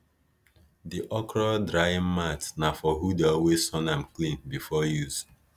di okra drying mat na for who dey always sun am clean before use